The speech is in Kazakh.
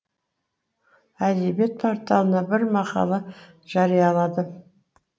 әдебиет порталына бір мақала жарияладым